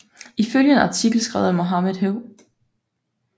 Ifølge en artikel skrevet af Mohamed H